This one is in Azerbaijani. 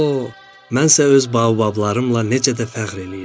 Mənsə öz baobablarımla necə də fəxr eləyirdim."